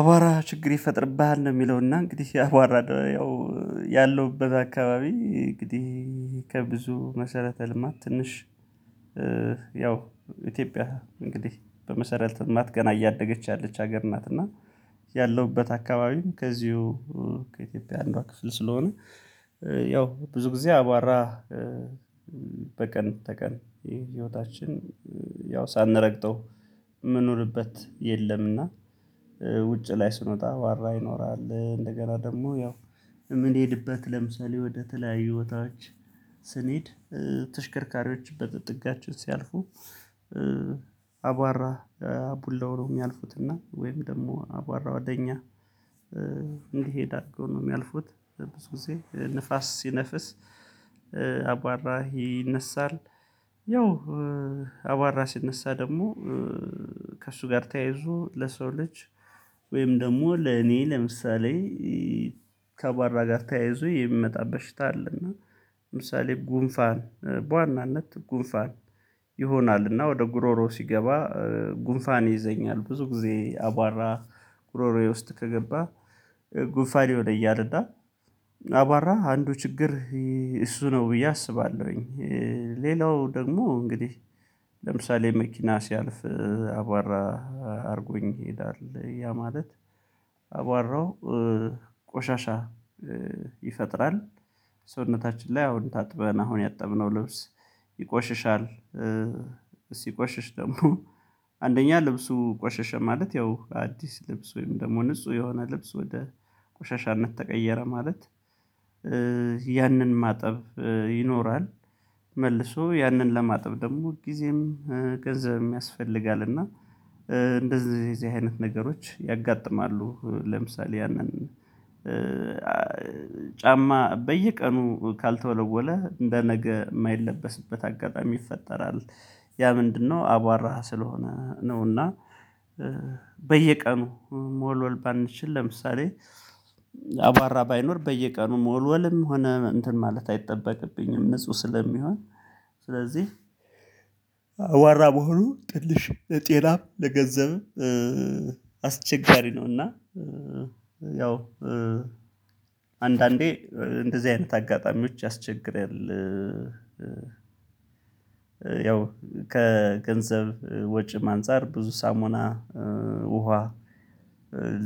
አባራ ችግር ይፈጥርብሃል ነው። የሚለውና እንግዲህ አባራ ያው ያለውበት አካባቢ እንግዲህ ከብዙ መሰረተ ልማት ትንሽ ያው ኢትዮጵያ እንግዲህ በመሰረት እናት ገና እያደገች ያለች ሀገር እናት እና ያለውበት አካባቢም ከዚሁ ከኢትዮጵያ አንዷ ክፍል ስለሆነ ያው ብዙ ጊዜ አቧራ በቀን ተቀን የህይወታችን ያው ሳንረግጠው የምንኖርበት የለምና። ላይ ስንወጣ ዋራ ይኖራል እንደገና ደግሞ ያው ምን ይሄድበት ለምሳሌ ወደተለያዩ ህይወታዎች ስንሄድ ተሽከርካሪዎች በጥጋችሁት ሲያልፉ አቧራ አቡነው ነው። የሚያልፉት እና ወይም ደግሞ አቧራ ወደ እኛ እንዲሄድ አድርገው ነው የሚያልፉት ብዙ ጊዜ ንፋስ ሲነፍስ አቧራ ይነሳል። ያው አባራ ሲነሳ ደግሞ ከእሱ ጋር ተያይዞ ለሰው ልጅ ወይም ደግሞ ለኔ ለምሳሌ ከባራ ጋር ተያይዞ የሚመጣበት ሽታ አለ። አለና ለምሳሌ ጉንፋን በዋናነት ጉንፋን ይሆናልና ወደ ጉሮሮ ሲገባ ጉንፋኔ ይዘኛል ብዙ ጊዜ አቧራ ጉሮሮዬ ውስጥ ከገባ ጉንፋኔ ወደ እያለዳ አባራ አንዱ ችግር እሱ ነው ብዬ አስባለሁኝ። ሌላው ደግሞ እንግዲህ ለምሳሌ መኪና ሲያልፍ አቧራ አድርጎኝ ይሄዳል ያ ማለት አቧራው ቆሻሻ ይፈጥራል ሰውነታችን ላይ አሁን ታጥበን አሁን ያጠብነው ልብስ ይቆሽሻል። ሲቆሽሽ ደግሞ አንደኛ ልብሱ ቆሸሸ ማለት ያው አዲስ ልብስ ወይም ደግሞ ንጹህ የሆነ ልብስ ወደ ቆሻሻነት ተቀየረ ማለት ያንን ማጠብ ይኖራል። መልሶ ያንን ለማጥብ ደግሞ ሁልጊዜም ገንዘብ የሚያስፈልጋል እና እንደዚህ እዚህ አይነት ነገሮች ያጋጥማሉ። ለምሳሌ ያንን ጫማ በየቀኑ ካልተወለወለ እንደ ነገ የማይለበስበት አጋጣሚ ይፈጠራል። ያ ምንድነው አቧራህ ስለሆነ ነውና በየቀኑ ሞልወል ባንችል ለምሳሌ አባራ ባይኖር በየቀኑ ሞልወልም ሆነ እንትን ማለት አይጠበቅብኝም። ንጹህ ስለሚሆን ስለዚህ አቧራ መሆኑ ትንሽ ለጤናም ለገንዘብ አስቸጋሪ ነው። እና ያው አንዳንዴ እንደዚህ አይነት አጋጣሚዎች ያስቸግራል። ያው ከገንዘብ ወጪም አንፃር ብዙ ሳሞና ውሃ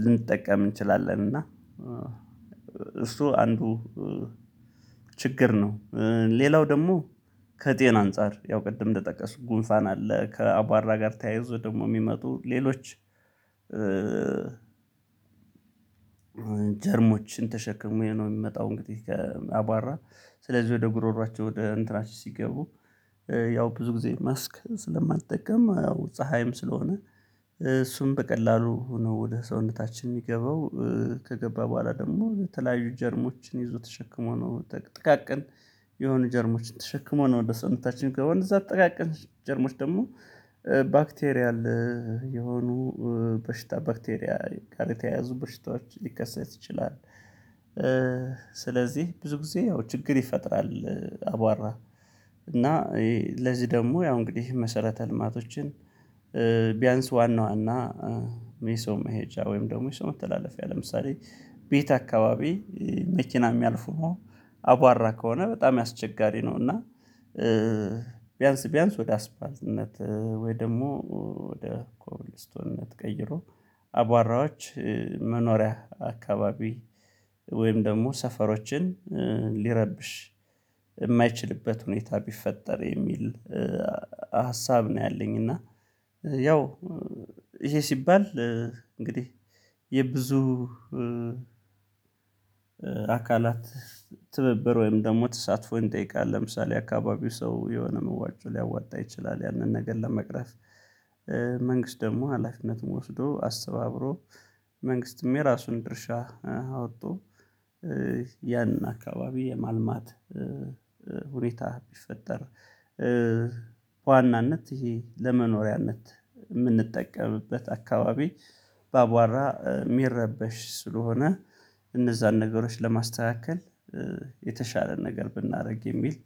ልንጠቀም እንችላለን እና አንዱ ችግር ነው። ሌላው ደግሞ ከጤና አንፃር ያው ቅድም እንደጠቀስኩ ጉንፋን አለ ከአባራ ጋር ተያይዞ ደግሞ የሚመጡ ሌሎች ጀርሞችን ተሸክሜ ነው የሚመጣው። እንግዲህ ከአቧራ ስለዚህ ወደ ጉሮሮአቸው ወደ እንትናቸው ሲገቡ ያው ብዙ ጊዜ ማስክ ስለማትጠቀም አዎ ፀሀይም ስለሆነ እሱን በቀላሉ ነው ወደ ሰውነታችን የሚገባው ከገባ በኋላ ደግሞ የተለያዩ ጀርሞችን ይዞ ተሸክሞ ነው ጥቃቅን የሆነ ጀርሞችን ተሸክሞ ነው ወደ ሰውነታችን ገባሁ እዛ አጠቃቀን ጀርሞች ደግሞ ባክቴሪያ የሆኑ በሽታ ባክቴሪያ ጋር የተያያዙ በሽታዎች ሊከሰት ይችላል። ስለዚህ ብዙ ጊዜ ያው ችግር ይፈጥራል። አቧራ እና ለዚህ ደግሞ ያው እንግዲህ መሰረተ ልማቶችን ዋና ዋና የሰው መሄጃ ወይም ደግሞ የሰው መተላለፊያ ለምሳሌ ቤት አካባቢ መኪና የሚያልፉ ነው አቧራ ከሆነ በጣም ያስቸጋሪ ነው። እና ቢያንስ ቢያንስ ወደ አስፓልትነት ወይ ደግሞ ወደ ኮብልስቶነት ቀይሮ አቧራዎች መኖሪያ አካባቢ ወይም ደግሞ ሰፈሮችን ሊረብሽ የማይችልበት ሁኔታ ቢፈጠር የሚል ሀሳብ ነው። ያለኝ እና ያው ይሄ ሲባል እንግዲህ የብዙ አካል አካላት ትብብር ወይም ደግሞ ተሳትፎ እንጠይቃለን ለምሳሌ አካባቢው ሰው የሆነ መዋጮ ሊያወጣ ይችላል። ያንን ነገር ለመቅረፍ መንግስት ደግሞ ሀላፊነቱን ወስዶ አስባብሮ መንግስትም የራሱን ድርሻ አወጡ ያንን አካባቢ የማልማት ሁኔታ ቢፈጠር ዋናነት ይሄ ለመኖሪያነት የምንጠቀምበት አካባቢ በአቧራ የሚረበሽ ስለሆነ እነዛን ነገሮች ለማስተካከል የተሻለ ነገር ብናደርግ የሚል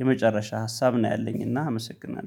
የመጨረሻ ሀሳብ ነው። ያለኝና አመሰግናለሁ